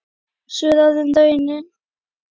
Sú er orðin raunin.